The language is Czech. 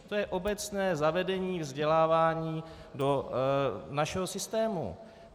To je obecné zavedení vzdělávání do našeho systému.